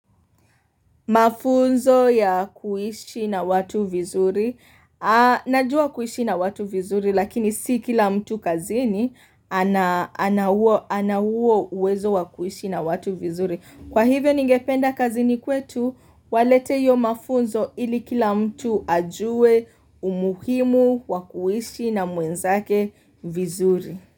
Mafunzo ya kuishi na watu vizuri. Najua kuishi na watu vizuri lakini si kila mtu kazini ana huo uwezo wa kuishi na watu vizuri. Kwa hivyo ningependa kazini kwetu walete hiyo mafunzo ili kila mtu ajue umuhimu wa kuishi na mwenzake vizuri.